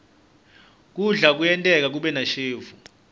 kudla kuyenteka kube nashevu